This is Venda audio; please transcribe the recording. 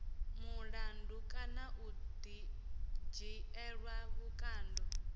mulandu kana u dzhielwa vhukando